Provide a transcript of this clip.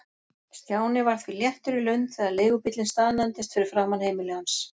Stjáni var því léttur í lund þegar leigubíllinn staðnæmdist fyrir framan heimili hans.